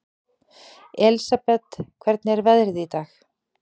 Elsabet, hvernig er veðrið í dag?